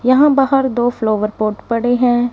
यहां बाहर दो फ्लावर पॉट पड़े हैं।